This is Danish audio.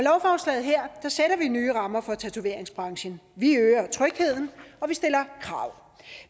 nye rammer for tatoveringsbranchen vi øger trygheden og vi stiller krav